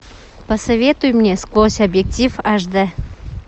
посоветуй мне сквозь объектив аш дэ